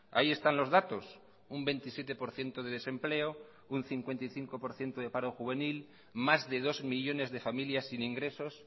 ahí están los datos un veintisiete por ciento de desempleo un cincuenta y cinco por ciento de paro juvenil más de dos millónes de familias sin ingresos